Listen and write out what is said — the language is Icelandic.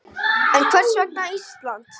En hvers vegna Ísland?